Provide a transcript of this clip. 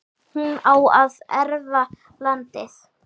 hún á að erfa landið.